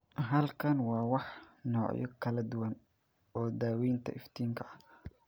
Halkan waxaa ah noocyo kala duwan oo daawaynta iftiinka ah.